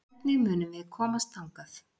Hvernig munum við komast þangað?